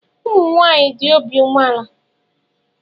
Ụmụnwaanyị dị obi umeala.